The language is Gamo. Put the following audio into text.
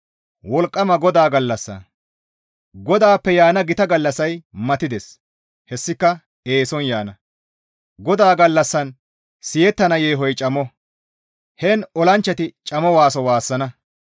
«GODAAPPE yaana gita gallassay matides; hessika eeson yaana; GODAA gallassan siyettana yeehoy camo; heen olanchchati camo waaso waassana.